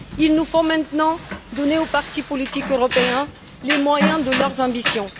Il nous faut maintenant donner aux partis politiques européens les moyens de leurs ambitions.